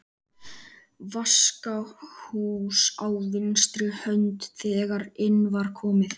Vaskahús á vinstri hönd þegar inn var komið.